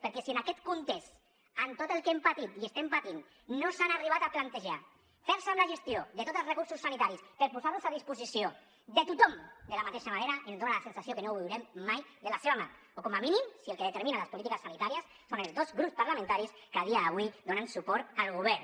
perquè si en aquest context amb tot el que hem patit i estem patint no s’han arribat a plantejar fer se amb la gestió de tots els recursos sanitaris per posar los a disposició de tothom de la mateixa manera ens dona la sensació que no ho veurem mai de la seva mà o com a mínim si el que determina les polítiques sanitàries són els dos grups parlamentaris que a dia d’avui donen suport al govern